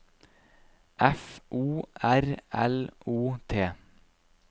F O R L O T